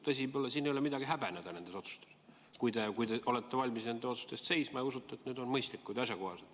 Siin ei ole midagi häbeneda, kui te olete valmis nende otsuste eest seisma ja usute, et need on mõistlikud ja asjakohased.